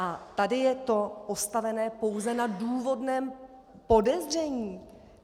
A tady je to postavené pouze na důvodném podezření.